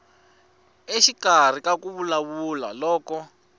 exikarhi ka ku vulavula loko